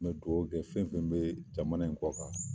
N bɛ dugawu kɛ fɛn fɛn bɛ jamana iin kɔ kan!